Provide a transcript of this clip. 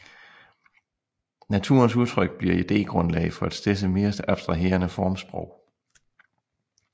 Naturens udtryk bliver idégrundlag for et stedse mere abstraherende formsprog